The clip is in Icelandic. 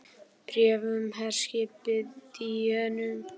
BRÉF UM HERSKIPIÐ DÍÖNU